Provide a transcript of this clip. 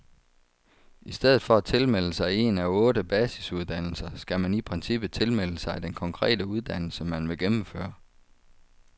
I stedet for at tilmelde sig en af otte basisuddannelser, skal man i princippet tilmelde sig den konkrete uddannelse, man vil gennemføre.